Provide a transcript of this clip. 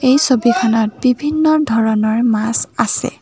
এই ছবিখনত বিভিন্ন ধৰণৰ মাছ আছে।